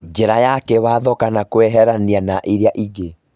Njĩra ya kĩwatho kama kweherianĩria na iria ingĩ